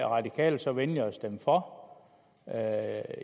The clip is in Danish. radikale så venlige at stemme for